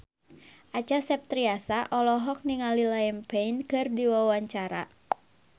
Acha Septriasa olohok ningali Liam Payne keur diwawancara